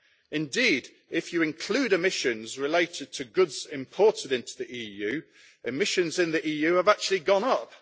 Indeed, if you include emissions related to goods imported into the EU, emissions in the EU have actually gone up.